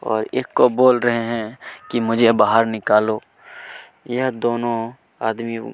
और एक को बोल रहै है की मुझे बाहर निकालो यह दोनों आदमी--